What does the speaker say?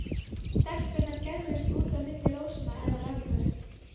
Stelpurnar gægðust út á milli rósanna hennar ömmu.